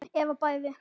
Eða bæði.